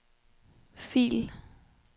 fil